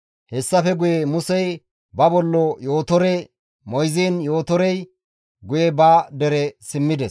Hessafe guye Musey ba bollo Yootore moyziin Yootorey guye ba dere simmides.